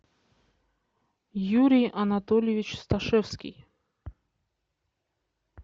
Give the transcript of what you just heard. юрий анатольевич сташевский